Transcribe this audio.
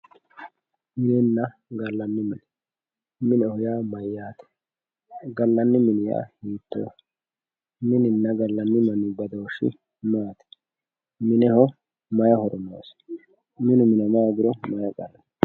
Minenna gallani mine, mineho yaa mayyate, gallani mini yaa hiittoho, mininna gallani mini badooshi maati, mineho mayi horo noosi ,minu minama hoogiro mayi daano ?